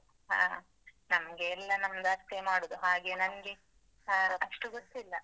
ಹಾ ನಮ್ಗೆ ಎಲ್ಲ ನಮ್ದು ಅತ್ತೆಯೆ ಮಾಡುದು, ಹಾಗೆ ನಂಗೆ ಅಷ್ಟು ಗೊತ್ತಿಲ್ಲ.